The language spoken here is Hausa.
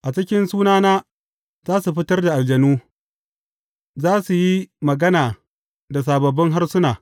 A cikin sunana za su fitar da aljanu, za su yi magana da sababbin harsuna.